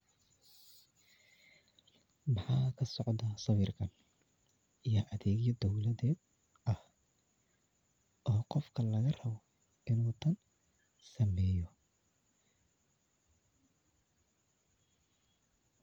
Maxa kasocda sawirkan iyo adegyada dowlada ah oo gofka laga rabo inu tan sameyo.